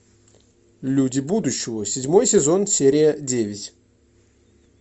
люди будущего седьмой сезон серия девять